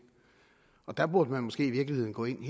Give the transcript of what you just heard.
og der burde man måske i virkeligheden gå ind